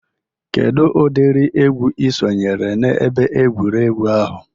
Kedụ ụdịri egwu Ị sonyere n'ebe egwuregwu ahụ?